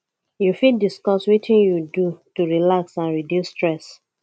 you fit discuss wetin you do to relax and reduce stress